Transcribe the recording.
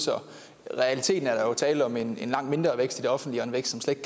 så i realiteten er der jo tale om en langt mindre vækst i det offentlige og en vækst som slet